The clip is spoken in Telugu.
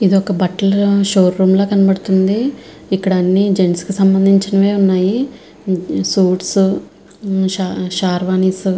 ఇది ఒక బట్టల షో రూం ల కనబడుతూ వుంది. ఇక్కడ అని జెంట్స్ కి సంబంధించినాయె వున్నాయ్. సూట్ షేర్వానీస్ --